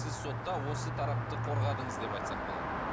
сіз сотта осы тарапты қорғадыңыз деп айтсақ болады